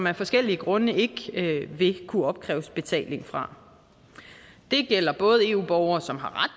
af forskellige grunde ikke vil kunne opkræves betaling fra det gælder eu borgere som har ret